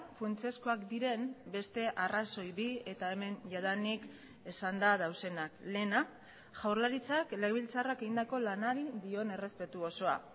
funtsezkoak diren beste arrazoi bi eta hemen jadanik esanda daudenak lehena jaurlaritzak legebiltzarrak egindako lanari dion errespetu osoa